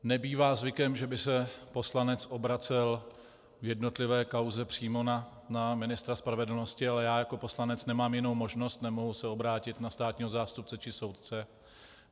Nebývá zvykem, že by se poslanec obracel v jednotlivé kauze přímo na ministra spravedlnosti, ale já jako poslanec nemám jinou možnost, nemohu se obrátit na státního zástupce či soudce.